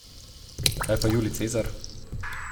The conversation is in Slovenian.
Kaj pa Julij Cezar?